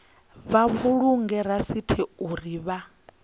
vha vhulunge rasithi uri vha